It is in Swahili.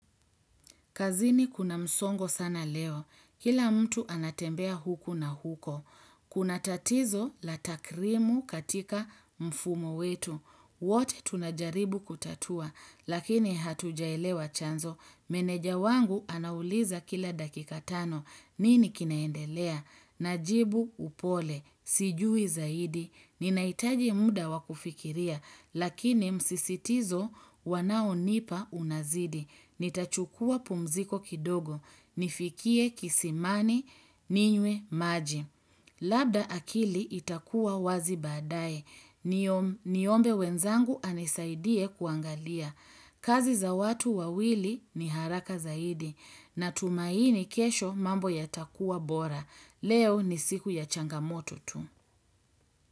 Kazini kuna msongo sana leo. Kila mtu anatembea huku na huko. Kuna tatizo la takrimu katika mfumo wetu. Wote tunajaribu kutatua. Lakini hatujaelewa chanzo. Meneja wangu anauliza kila dakikatano. Nini kinaendelea? Najibu upole. Sijui zaidi. Ninaaitaji muda wakufikiria. Lakini msisitizo wanao nipa unazidi. Nita chukua pumziko kidogo, nifikie kisimani, ninywe maji. Labda akili itakuwa wazi baadaye, niombe wenzangu anisaidie kuangalia. Kazi za watu wawili ni haraka zaidi, na tumaini kesho mambo ya takua bora. Leo ni siku ya changamoto tu.